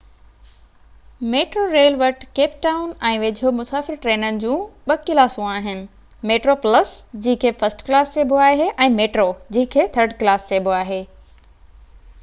metro rail وٽ Cape Town ۽ ويجهو مسافر ٽرينن جون ٻہ ڪلاسون آهن: ميٽرو پلس جنهن کي فرسٽ ڪلاس چئبو آهي ۽ ميٽرو جنهن کي ٿرڊ ڪلاس چئبو آهي